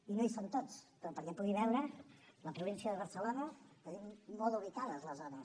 i no hi són tots però perquè pugui veure la província de barcelona tenim molt ubicades les zones